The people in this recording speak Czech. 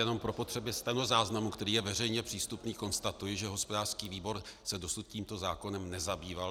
Jenom pro potřeby stenozáznamu, který je veřejně přístupný, konstatuji, že hospodářský výbor se dosud tímto zákonem nezabýval.